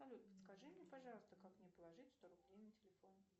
салют подскажи мне пожалуйста как мне положить сто рублей на телефон